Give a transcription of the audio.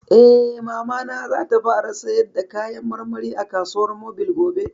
Eh, Mamana za ta fara sayar da kayan marmari a kasuwar mobil gobe